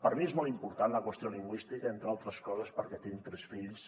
per mi és molt important la qüestió lingüística entre altres coses perquè tinc tres fills